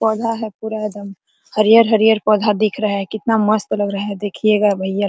पौधा है पूरा एक दम हरिहर-हरिहर पौधा दिख रहा है कितना मस्त लग रहा है देखिएगा भैया।